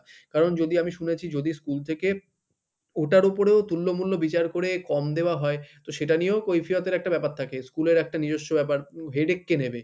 কারণ যদি আমি শুনেছি যদি school থেকে ওটার উপরেও তুল্যমূল্য বিচার করে কম দেওয়া হয় তো সেটা নিয়েও কৈফিয়তের একটা ব্যাপার থাকে school এর একটা নিজস্ব ব্যাপার উম headache কে নেবে?